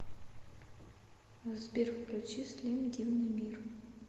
сбер включи слим дивный мир